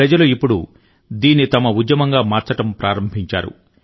ప్రజలు ఇప్పుడు దీన్ని తమ ఉద్యమంగా మార్చడం ప్రారంభించారు